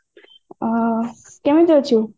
ଅ କେମିତି ଅଛୁ